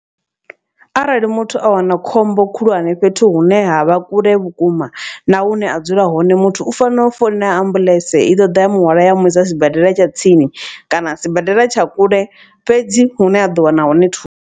Arali muthu a wana khombo khulwane fhethu hune ha vha kule vhukuma na hune a dzula hone. Muthu u fanela u founela ambuḽentse i ḓo ḓa ya muhwalo ya muisa sibadela tsha tsini kana sibadela tsha kule fhedzi hune ha ḓo wana hone thusa.